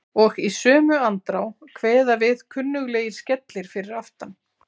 Og í sömu andrá kveða við kunnuglegir skellir fyrir aftan.